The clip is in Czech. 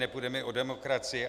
Nepůjde mi o demokracii.